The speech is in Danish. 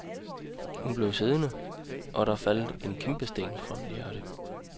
Hun bliv siddende, og der faldt der en kæmpesten fra mit hjerte.